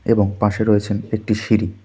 এবং পাশে রয়েছেন একটি সিঁড়ি।